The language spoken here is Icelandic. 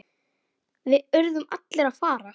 Við urðum allir að fara.